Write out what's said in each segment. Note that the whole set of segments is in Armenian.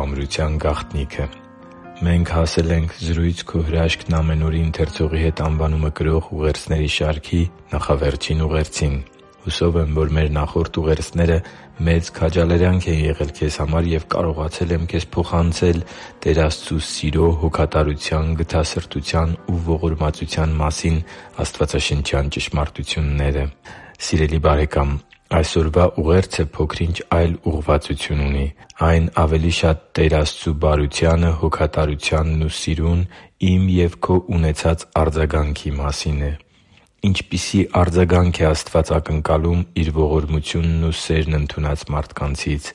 ամրության գաղտնիքը Մենք հասել ենք «Զրույց«Քո հրաշքն՝ ամեն օր»-ի ընթերցողի հետ» անվանումը կրող ուղերձների շարքի նախավերջին ուղերձին։ Հուսով եմ, որ մեր նախորդ ուղերձները մեծ քաջալերանք են եղել քեզ համար, և կարողացել եմ քեզ փոխանցել Տեր Աստծու սիրո, հոգատարության, գթասրտության ու ողորմածության մասին աստվածաշնչյան ճշմարտությունները։ Սիրելի՛ բարեկամ, այսօրվա ուղերձը փոքր-ինչ այլ ուղղվածություն ունի։ Այն ավելի շատ Տեր Աստծու բարությանը, հոգատարությանն ու սիրուն իմ և քո ունեցած արձագանքի մասին է։ Ինչպիսի՞ արձագանք է Աստված ակնկալում Իր ողորմությունն ու սերն ընդունած մարդկանցից։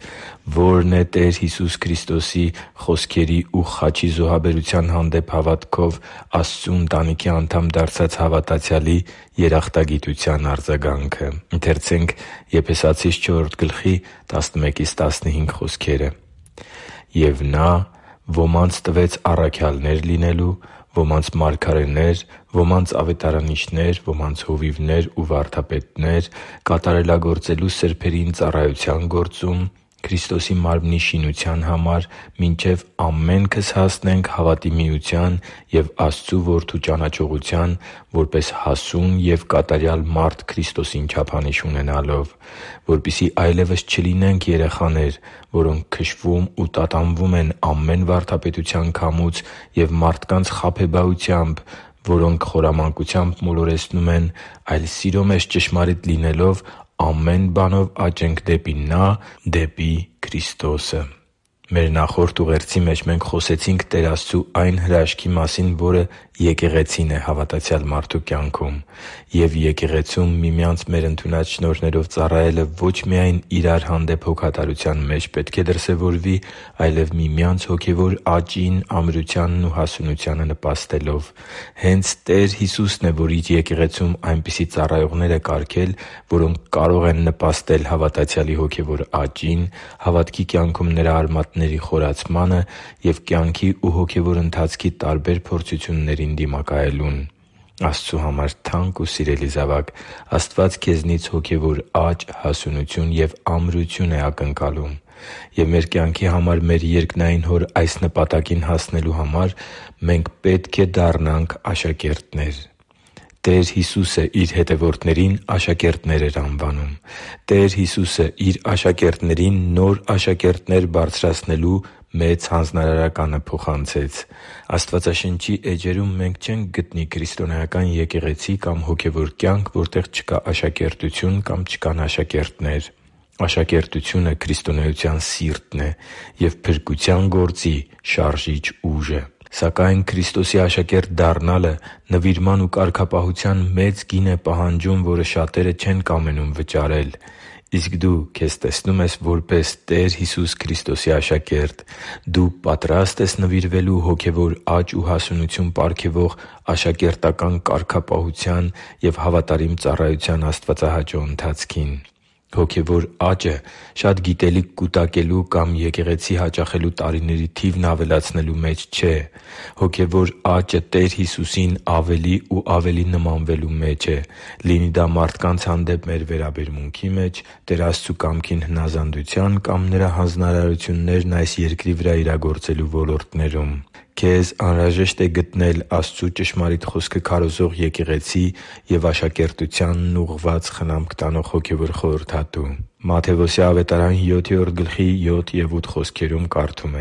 Ո՞րն է Տեր Հիսուսի խոսքերի ու խաչի զոհաբերության հանդեպ հավատքով Աստծու ընտանիքի անդամ դարձած հավատացյալի երախտագիտության արձագանքը։ «Եվ Նա ոմանց տվեց առաքյալներ լինելու, ոմանց՝ մարգարեներ, ոմանց՝ ավետարանիչներ, ոմանց՝ հովիվներ ու վարդապետներ՝ կատարելագործելու սրբերին ծառայության գործում՝ Քրիստոսի մարմնի շինության համար, մինչև ամենքս հասնենք հավատի միության և Աստծու Որդու ճանաչողության՝ որպես հասուն և կատարյալ մարդ Քրիստոսին չափանիշ ունենալով։ Որպեսզի այլևս չլինենք երեխաներ, որոնք քշվում ու տատանվում են ամեն վարդապետության քամուց և մարդկանց խաբեբայությամբ, որոնք խորամանկությամբ մոլորեցնում են, այլ սիրո մեջ ճշմարիտ լինելով՝ ամեն բանով աճենք դեպի Նա, որ գլուխն է, դեպի Քրիստոսը» (Եփեսացիս 4.11-15): Մեր նախորդ ուղերձի մեջ խոսեցինք Տեր Աստծու այն հրաշքի մասին, որը եկեղեցին է հավատացյալ մարդու կյանքում։ Եվ եկեղեցում միմյանց մեր ընդունած շնորհներով ծառայելը ո՛չ միայն իրար հանդեպ հոգատարության մեջ պետք է դրսևորվի, այլև միմյանց հոգևոր աճին, ամրությանն ու հասունությանը նպաստելով։ Հե՛նց Տեր Հիսուսն է, որ Իր եկեղեցում այնպիսի ծառայողներ է կարգել, որոնք կարող են նպաստել հավատացյալի հոգևոր աճին, հավատքի կյանքում նրա արմատների խորացմանը և կյանքի ու հոգևոր ընթացքի տարբեր փորձություններին դիմակայելուն։ Աստծու համար թանկ ու սիրելի՛ զավակ, Աստված քեզնից հոգևոր աճ, հասունություն և ամրություն է ակնկալում։ Եվ մեր կյանքի համար մեր երկնային Հոր այս նպատակին հասնելու համար մենք պետք է դառնանք աշակերտներ։ Տեր Հիսուսը Իր հետևորդներին աշակերտներ էր անվանում։ Տեր Հիսուսը Իր աշակերտներին նոր աշակերտներ բարձրացնելու Մեծ Հանձնարարականը փոխանցեց։ Աստվածաշնչի էջերում մենք չենք գտնի քրիստոնեական եկեղեցի կամ հոգևոր կյանք, որտեղ չկա աշակերտություն կամ չկան աշակերտներ։ Աշակերտությունը քրիստոնեության սիրտն է և փրկության գործի շարժիչ ուժը։ Սակայն Քրիստոսի աշակերտ դառնալը նվիրման ու կարգապահության մեծ գին է պահանջում, որը շատերը չեն կամենում վճարել։ Իսկ դու քեզ տեսնո՞ւմ ես որպես Տեր Հիսուս Քրիստոսի աշակերտ։ Դու պատրա՞ստ ես նվիրվելու հոգևոր աճ ու հասունություն պարգևող աշակերտական կարգապահության և հավատարիմ ծառայության աստվածահաճո ընթացքին։ Հոգևոր աճը շատ գիտելիք կուտակելու կամ եկեղեցի հաճախելու տարիների թիվն ավելացնելու մեջ չէ։ Հոգևոր աճը Տեր Հիսուսին ավելի ու ավելի նմանվելու մեջ է՝ լինի դա մարդկանց հանդեպ մեր վերաբերմունքի, Տեր Աստծու կամքին հնազանդության կամ Նրա հանձնարարություններն այս երկրի վրա իրագործելու ոլորտներում։ Քեզ անհրաժեշտ է գտնել Աստծու ճշմարիտ Խոսքը քարոզող եկեղեցի և աշակերտությանն ուղղված խնամք տանող հոգևոր խորհրդատու։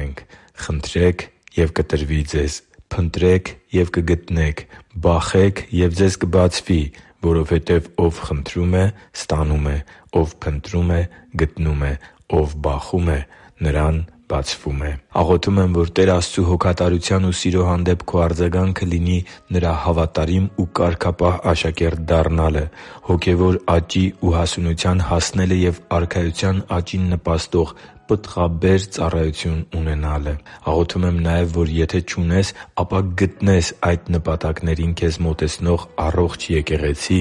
«Խնդրե՛ք, և կտրվի ձեզ, փնտրե՛ք և կգտնեք, բախե՛ք, և ձեզ կբացվի. որովհետև ով խնդրում է, ստանում է, ով փնտրում է, գտնում է, ով բախում է, նրան բացվում է» (Մատթեոս 7․7-8): Աղոթում եմ, որ Տեր Աստծու հոգատարության ու սիրո հանդեպ քո արձագանքը լինի Նրա հավատարիմ ու կարգապահ աշակերտ դառնալը, հոգևոր աճի ու հասունության հասնելը և Արքայության աճին նպաստող պտղաբեր ծառայություն ունենալը։ Աղոթում եմ նաև, որ եթե չունես, ապա գտնես այդ նպատակներին քեզ մոտեցնող առողջ եկեղեցի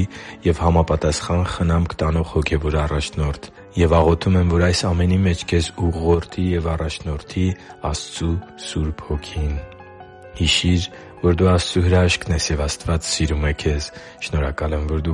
և համապատասխան խնամք տանող հոգևոր առաջնորդ։ Եվ աղոթում եմ, որ այս ամենի մեջ քեզ ուղղորդի և առաջնորդի Աստծու Սուրբ Հոգին։ Հիշի՛ր, որ դու Աստծո հրաշքն ես, և Աստված սիրում է քեզ։ Շնորհակալ եմ, որ դու